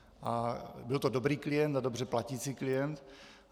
A byl to dobrý klient a dobře platící klient.